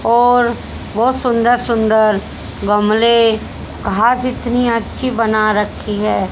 और बहुत सुंदर सुंदर गमले घास इतनी अच्छी बना रखी है।